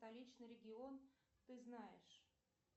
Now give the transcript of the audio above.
столичный регион ты знаешь